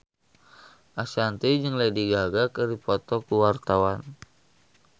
Ashanti jeung Lady Gaga keur dipoto ku wartawan